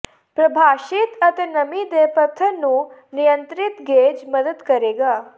ਪ੍ਰਭਾਸ਼ਿਤ ਅਤੇ ਨਮੀ ਦੇ ਪੱਧਰ ਨੂੰ ਨਿਯੰਤ੍ਰਿਤ ਗੇਜ ਮਦਦ ਕਰੇਗਾ